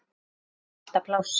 Amma hafði alltaf pláss.